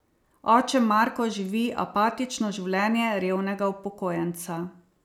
Oče Marko živi apatično življenje revnega upokojenca.